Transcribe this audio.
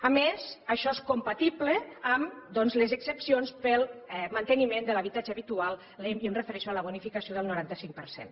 a més això és compatible amb doncs les exempcions per al manteniment de l’habitatge habitual i em refereixo a la bonificació del noranta cinc per cent